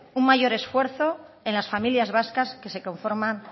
un mayor esfuerzo en las familias vascas que se conforma